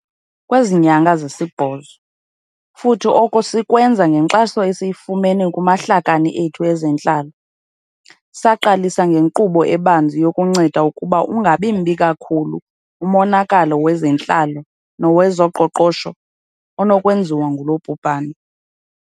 Kwezi nyanga zisibhozo, futhi oko sikwenza ngenkxaso esiyifumene kumahlakani ethu ezentlalo, saqalisa ngenkqubo ebanzi yokunceda ukuba ungabi mbi kakhulu umonakalo wezentlalo nowezoqoqosho onokwenziwa ngulo bhubhane.